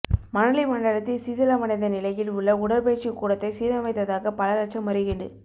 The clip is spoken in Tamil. மணலி மண்டலத்தில் சிதிலமடைந்த நிலையில் உள்ள உடற்பயிற்சி கூடத்தை சீரமைத்ததாக பல லட்சம் முறைகேடு